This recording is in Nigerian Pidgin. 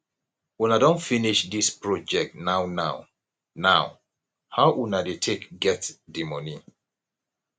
una don finish this project now now now how una dey take get di money